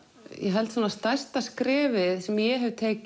held að stærsta skrefið sem ég hef tekið